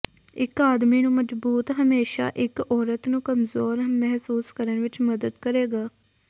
ਇੱਕ ਆਦਮੀ ਨੂੰ ਮਜ਼ਬੂਤ ਹਮੇਸ਼ਾ ਇੱਕ ਔਰਤ ਨੂੰ ਕਮਜ਼ੋਰ ਮਹਿਸੂਸ ਕਰਨ ਵਿੱਚ ਮਦਦ ਕਰੇਗਾ